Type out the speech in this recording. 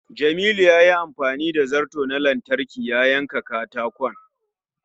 Jamilu yayi amfani da zarto na lantarki ya yanka katakon.